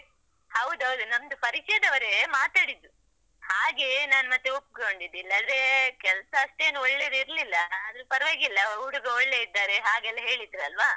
ಹೌದೌದು, ನಮ್ದು ಪರಿಚಯದವರೇ ಮಾತಾಡಿದ್ದು ಹಾಗೆ ನಾನ್ ಮತ್ತೆ ಒಪ್ಕೊಂಡಿದ್ದು, ಇಲ್ಲಾಂದ್ರೆ ಕೆಲ್ಸ ಅಷ್ಟೇನು ಒಳ್ಳೆದಿರಲಿಲ್ಲ ಆದ್ರು ಪರ್ವಾಗಿಲ್ಲ, ಹುಡುಗ ಒಳ್ಳೆ ಇದ್ದಾರೆ ಹಾಗೆಲ್ಲ ಹೇಳಿದ್ರಲ್ವ.